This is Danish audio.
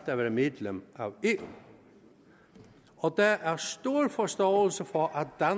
at være medlem af eu og der er stor forståelse for at